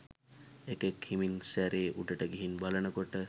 එකෙක් හෙමින් සැරේ උඩට ගිහිං බලනකො‍ට